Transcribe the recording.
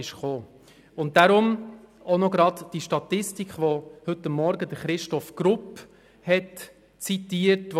Deshalb komme ich auch gerade auf die Statistik zu sprechen, die Christoph Grupp heute Morgen zitiert hat.